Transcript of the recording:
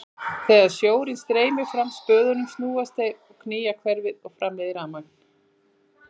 Þegar sjórinn streymir fram hjá spöðunum snúast þeir og knýja hverfil sem framleiðir rafmagn.